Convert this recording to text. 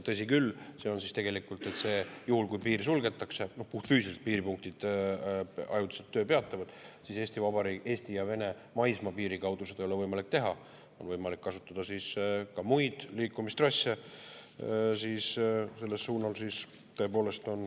Tõsi küll, juhul, kui piir suletakse, puhtfüüsiliselt piiripunktid ajutiselt töö peatavad, siis Eesti ja Vene maismaapiiri kaudu seda ei ole võimalik teha, aga on võimalik kasutada muid liikumistrasse sellel suunal.